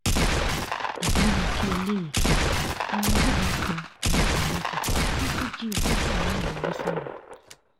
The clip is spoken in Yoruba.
àbírú kí léléyìí kẹ̀, àwọn agbébọn pa ọlọ́pàá méjì wọ́n tún jí ogójì aráàlú gbé sá lọ